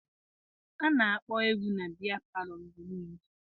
A na-akpọ egwu na biya palọ mgbe niile.